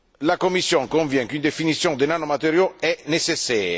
La Commission convient qu'une définition des nanomatériaux est nécessaire.